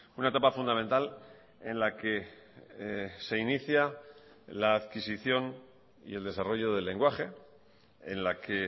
una etapa fundamental en la que se inicia la adquisición y el desarrollo del lenguaje en la que